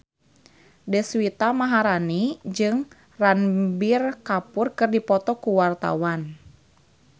Deswita Maharani jeung Ranbir Kapoor keur dipoto ku wartawan